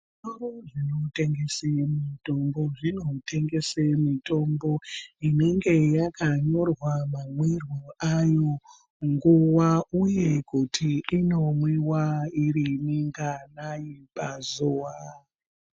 Zvitoro zvinotengese mitombo, zvinotengese mitombo inenge yakanyorwa mamwiro ayo, nguwa uye kuti inomwiwa iri minganayi pazuwa.